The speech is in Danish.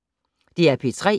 DR P3